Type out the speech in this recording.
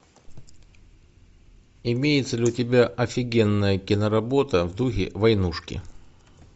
имеется ли у тебя офигенная киноработа в духе войнушки